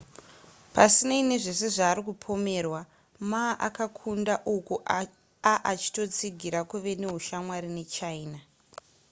pasinei nezvese zvaari kupomerwa, ma akakunda uku aachitotsigira kuva neushamwari nechina